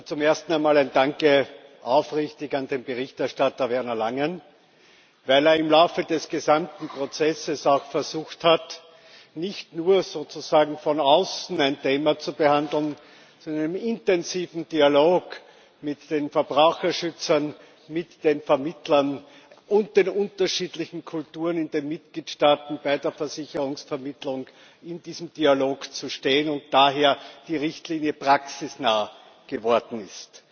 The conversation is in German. Zum Ersten einmal ein aufrichtiges Danke an den Berichterstatter Werner Langen, weil er im Laufe des gesamten Prozesses versucht hat, nicht nur sozusagen von außen ein Thema zu behandeln, sondern im intensiven Dialog mit den Verbraucherschützern, mit den Vermittlern und den unterschiedlichen Kulturen in den Mitgliedstaaten bei der Versicherungsvermittlung in diesem Dialog zu stehen, und daher die Richtlinie praxisnah geworden ist.